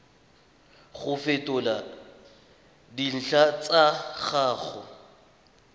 go fetola dintlha tsa gago